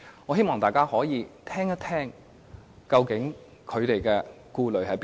我希望大家先聆聽他們的顧慮是甚麼？